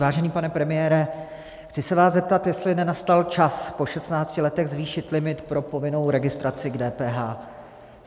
Vážený pane premiére, chci se vás zeptat, jestli nenastal čas po 16 letech zvýšit limit pro povinnou registraci k DPH.